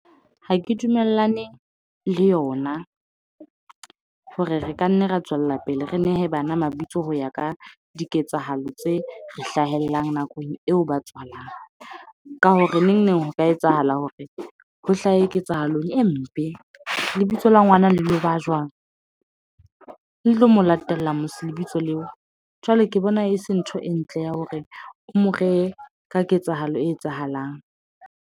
Ha ke dumellane le yona, hore re ka nna ra tswella pele re nehe bana mabitso ho ya ka diketsahalo tse hlahellang nakong eo ba tswalang. Ka hore neng neng ho ka etsahala hore ho hlahe ketsahalong e mpe. Lebitso la ngwana le lo ba jwang? Le tlo molatella lebitso leo? Jwale ke bona e se ntho e ntle ya hore o mo reye ka ketsahalo e etsahalang.